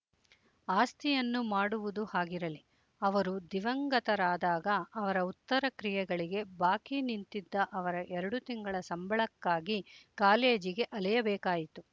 ಆಸ್ತಿಯನ್ನು ಮಾಡುವುದು ಹಾಗಿರಲಿ ಅವರು ದಿವಂಗತರಾದಾಗ ಅವರ ಉತ್ತರ ಕ್ರಿಯೆಗಳಿಗೆ ಬಾಕಿ ನಿಂತಿದ್ದ ಅವರ ಎರಡು ತಿಂಗಳ ಸಂಬಳಕ್ಕಾಗಿ ಕಾಲೇಜಿಗೆ ಅಲೆಯಬೇಕಾಯಿತು